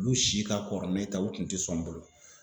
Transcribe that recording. Olu si ka kɔrɔ ni ne ta ye olu kun te sɔn n bolo